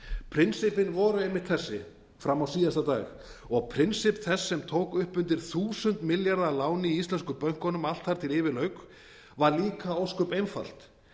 prinsippin voru einmitt þessi fram á síðasta dag og prinsipp þess sem tók upp undir þúsund milljarða að láni í íslensku bönkunum allt þar til yfir lauk var líka ósköp einfalt